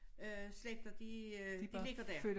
Øh slægter de øh de ligger der